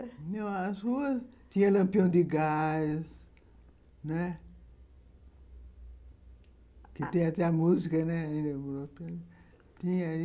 As ruas tinham lampião de gás, né, que tem até a música, né